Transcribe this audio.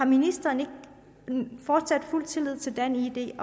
ministeren fortsat har fuld tillid til danid